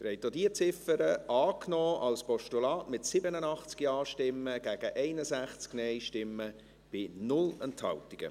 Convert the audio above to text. Sie haben auch diese Ziffer als Postulat angenommen, mit 87 Ja- gegen 61 Nein-Stimmen bei 0 Enthaltungen.